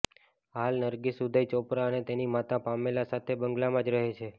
હાલ નરગીસ ઉદય ચોપરા અને તેની માતા પામેલા સાથે બંગલામાં જ રહે છે